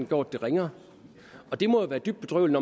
gjort det ringere det må være dybt bedrøveligt